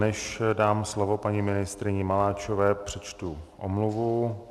Než dám slovo paní ministryni Maláčové, přečtu omluvu.